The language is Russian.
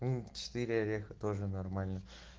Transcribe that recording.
четыре ореха тоже нормально